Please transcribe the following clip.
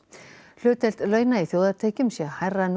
hlutdeild launa í þjóðartekjum sé hærra nú